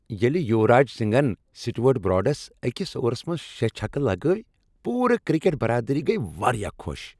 ییٚلہ یوراج سنگھن سٹیورٹ براڈس أکس اوورس منٛز شےٚ چھکہٕ لگٲوۍ، پوٗرٕ کرکٹ برادری گیۍ واریاہ خوش۔